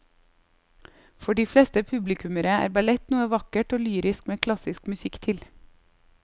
For de fleste publikummere er ballett noe vakkert og lyrisk med klassisk musikk til.